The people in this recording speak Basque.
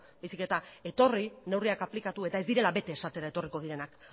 baizik eta etorri neurriak aplikatu eta ez direla bete esatera etorriko direnak